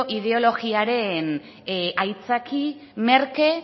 ideologiaren aitzaki merke